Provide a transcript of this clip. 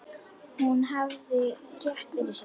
Hún hafði rétt fyrir sér.